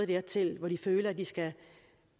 dertil hvor de føler at de skal